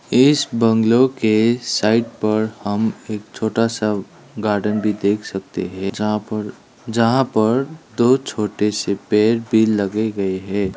इस बंगलो के साइड पर हम एक छोटा सा गार्डन भी देख सकते हैं जहां पर जहां पर दो छोटे से पेड़ भी लगे गए हैं।